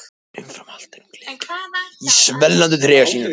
En umfram allt er hún gleðigjafi í svellandi trega sínum.